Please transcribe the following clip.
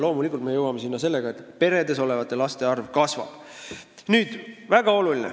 Loomulikult me jõuame selleni siis, kui peredes olevate laste arv kasvab.